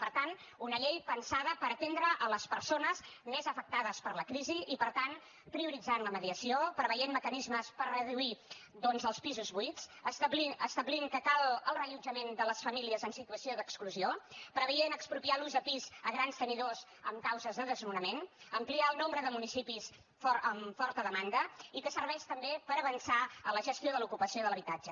per tant una llei pensada per atendre les persones més afectades per la crisi i per tant prioritzar la mediació preveure mecanismes per reduir els pisos buits establir que cal el reallotjament de les famílies en situació d’exclusió preveure expropiar l’ús de pis a grans tenidors amb causes de desnonament ampliar el nombre de municipis amb forta demanda i que serveix també per avançar en la gestió de l’ocupació de l’habitatge